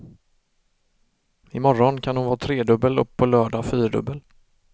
I morgon kan hon vara tredubbel och på lördag fyrdubbel.